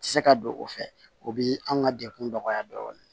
Tɛ se ka don o fɛ o bɛ an ka degun nɔgɔya dɔɔnin